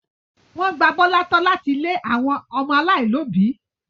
Wọ́n gba Bọ́lá tọ́ láti ilé àwọn ọmọ aláìlóòbí.